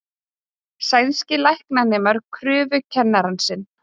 Sænskir læknanemar krufðu kennarann sinn